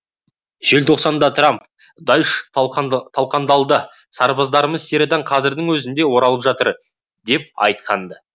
желтоқсанда трамп даиш талқандалды сарбаздарымыз сириядан қазірдің өзінде оралып жатыр деп айтқан ды